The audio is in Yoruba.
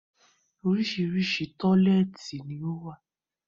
Oríṣiríṣi tọ́lẹ́ẹ́tì ni ó wà